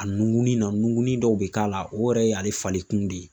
A nunkunni na, nunkunnin dɔw be k'a la o yɛrɛ y'ale falen kun de ye.